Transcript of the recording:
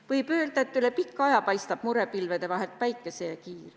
Võib öelda, et üle pika aja paistab murepilvede vahelt päikesekiir.